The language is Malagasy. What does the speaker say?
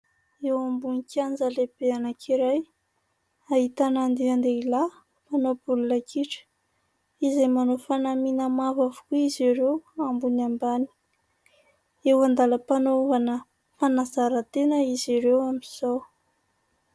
Eo ambonin'ny kianja lehibe anankiray ahitana andian-dehilahy mpanao baolina kitra, izay manao fanamiana mavo avokoa izy ireo ambony ambany, eo an-dalam-panaovana fanazaran-tena izy ireo amin'izao.